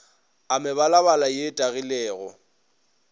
a mebalabala ye e tagilego